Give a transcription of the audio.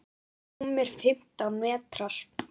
Rúmir fimmtán metrar.